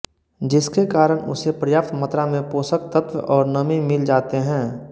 जिसके कारण उसे पर्याप्त मात्रा में पोषक तत्त्व और नमी मिल जाते हैं